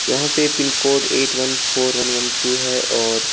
यहां पे pin code eight one four one one two है और --